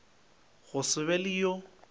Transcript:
go se be le yo